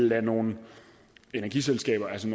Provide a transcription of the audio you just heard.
lade nogle energiselskaber altså